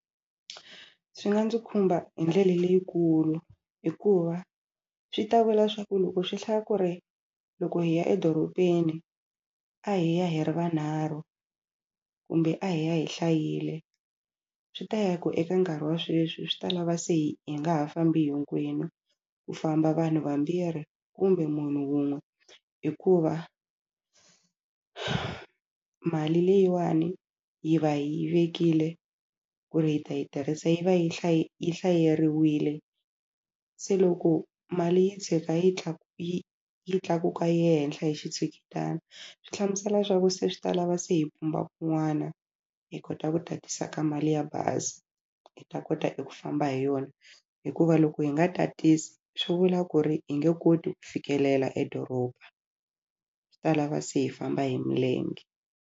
Swi nga ndzi khumba hi ndlela leyikulu hikuva swi ta vula swa ku loko swi hlaya ku ri loko hi ya edorobeni a hi ya hi ri vanharhu kumbe a hi ya hi hlayile swi ta ya ku eka nkarhi wa sweswi swi ta lava se hi hi nga ha fambi hinkwenu ku famba vanhu vambirhi kumbe munhu wun'we hikuva mali leyiwani hi va hi vekile ku ri hi ta yi tirhisa yi va yi yi hlaseriwile se loko mali yi tshuka yi yi tlakuka yi ya henhla hi xitshuketana swi hlamusela swa ku se swi ta lava se hi pumba kun'wana hi kota ku tatisa ka mali ya bazi hi ta kota ku famba hi yona hikuva loko hi nga tatisa swi vula ku ri hi nge koti ku fikelela edoroba swi ta lava se hi famba hi milenge.